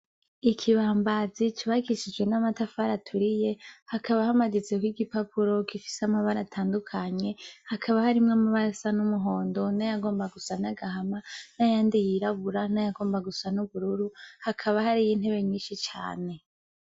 IKibambazi cubakishijwe n'amatafari aturiye hakaba hamaditseko igipapuro gifise amabara atandukanye hakaba harimwo amabara asa n'umuhondo, nayagomba gusa n'agahama, nayandi yirabura, nayagomba gusa nubururu hakaba harihintebe nyinshi cane.